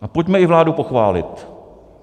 A pojďme i vládu pochválit.